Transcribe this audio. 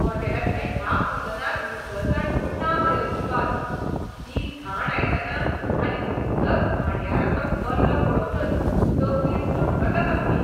हॉटेलांतल्या ह्या कुजनांत नितळसाण म्हूण ना मरे अजिबात. तीं घाण आयदनां आनी तितलोच घाणयारो तो गल्लो पळोवनच तकली सणकता सामकी!